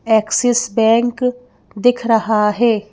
Axis bank दिख रहा है।